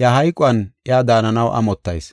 iya hayquwan iya daananaw amottayis.